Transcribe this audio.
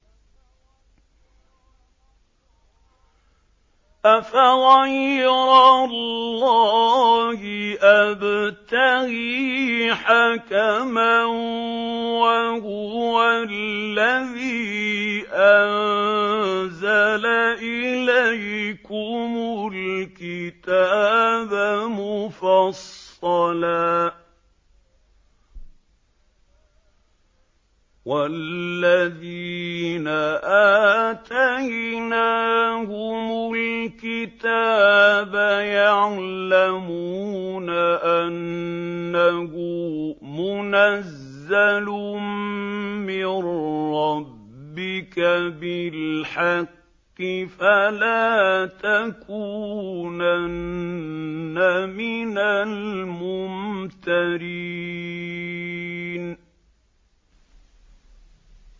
أَفَغَيْرَ اللَّهِ أَبْتَغِي حَكَمًا وَهُوَ الَّذِي أَنزَلَ إِلَيْكُمُ الْكِتَابَ مُفَصَّلًا ۚ وَالَّذِينَ آتَيْنَاهُمُ الْكِتَابَ يَعْلَمُونَ أَنَّهُ مُنَزَّلٌ مِّن رَّبِّكَ بِالْحَقِّ ۖ فَلَا تَكُونَنَّ مِنَ الْمُمْتَرِينَ